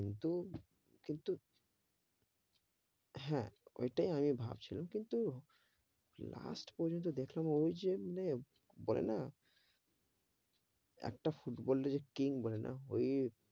কিন্তু, কিন্তু, হে, ঐটাই আমি ভাবছিলাম কিন্তু, last পর্যন্ত দেখলাম, ওই জন্যে বলে না একটা ফুটবলের যে king বলে না, ওই,